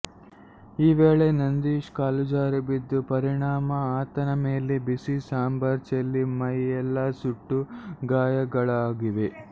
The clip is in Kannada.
ಈ ವೇಳೆ ನಂದೀಶ್ ಕಾಲುಜಾರಿ ಬಿದ್ದ ಪರಿಣಾಮ ಆತನ ಮೇಲೆ ಬಿಸಿ ಸಾಂಬಾರು ಚೆಲ್ಲಿ ಮೈಯೆಲ್ಲಾ ಸುಟ್ಟ ಗಾಯಗಳಾಗಿವೆ